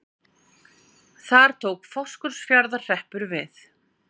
Þar tók Fáskrúðsfjarðar- hreppur við.